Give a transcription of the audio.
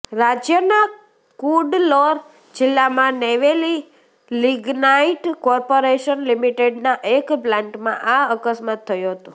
રાજ્યના કુડ્લોર જિલ્લામાં Neyveli lignite corporation લિમિટેડના એક પ્લાન્ટમાં આ અકસ્માત થયો હતો